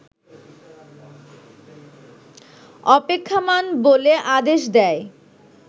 অপেক্ষমাণ বলে আদেশ দেয়